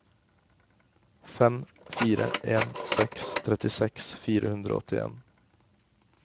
fem fire en seks trettiseks fire hundre og åttien